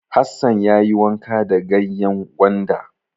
Hassan ya yi wanka da ganyen gwanda.